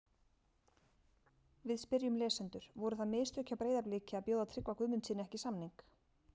Við spyrjum lesendur: Voru það mistök hjá Breiðabliki að bjóða Tryggva Guðmundssyni ekki samning?